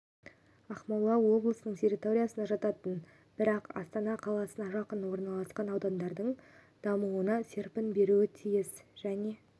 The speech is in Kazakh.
ақмола облысының территориясына жататын бірақ астана қаласына жақын орналасқан аудандардың дамуына серпін беруі тиіс және